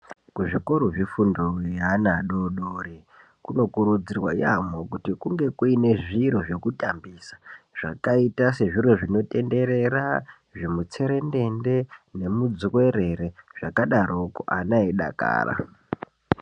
Kuzvikoro zvefundo yeana adoodori kunokurudzirwa yaamho kuti kunge kuine zviro zvekutambisa. Zvakaita sezviro zvinotenderera, zvimutserendende nemudzuwerere, zvakadaroko ana eidakara.